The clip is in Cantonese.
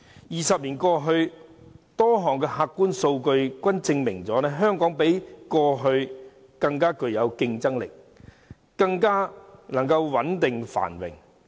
二十年過去，多項客觀數據均證明香港較過去更具競爭力，更加穩定繁榮。